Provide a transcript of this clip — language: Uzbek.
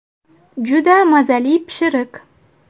Juda mazali pishiriq.